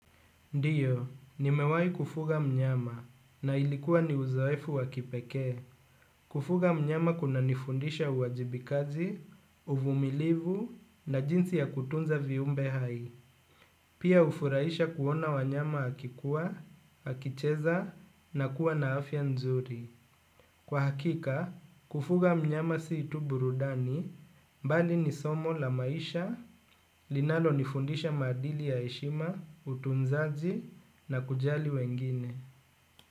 Ndiyo, nimewahi kufuga mnyama na ilikuwa ni uzoefu wa kipekee. Kufuga mnyama kunanifundisha uwajibikaji, uvumilivu na jinsi ya kutunza viumbe hai. Pia hufurahisha kuona wanyama akikua, akicheza na kuwa na afya nzuri. Kwa hakika, kufuga mnyama si tu burudani, bali ni somo la maisha, linalonifundisha maadili ya heshima, utunzaji na kujali wengine.